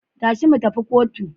Tashi mu tafi kotu.